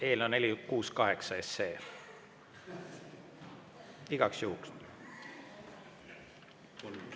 Eelnõu 468 igaks juhuks.